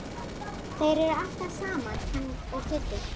Þeir eru alltaf saman hann og Kiddi.